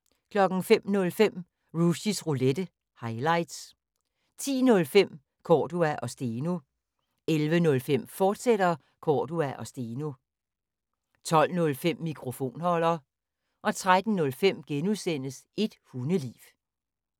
05:05: Rushys Roulette – highlights 10:05: Cordua & Steno 11:05: Cordua & Steno, fortsat 12:05: Mikrofonholder 13:05: Et hundeliv *